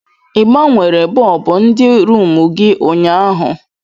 Ị gbanwere bọlbụ ndị rumụ gị ụnyaahụ?